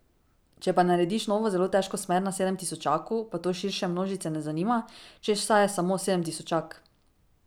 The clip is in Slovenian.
Če pa narediš novo zelo težko smer na sedemtisočaku, pa to širše množice ne zanima, češ saj je samo sedemtisočak.